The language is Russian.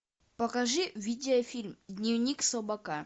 покажи видеофильм дневник слабака